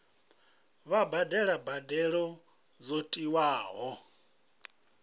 vha badele mbadelo dzo tiwaho